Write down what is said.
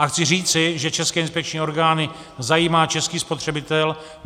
A chci říci, že české inspekční orgány zajímá český spotřebitel.